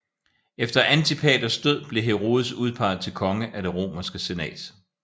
Efter Antipaters død blev Herodes udpeget til konge af Det romerske Senat